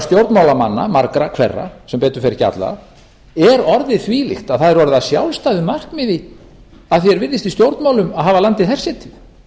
stjórnmálamanna margra hverra sem betur fer ekki allra er orðið þvílíkt að það er orðið að sjálfstæðu markmiði að því er virðist í stjórnmálum að hafa landið hersetið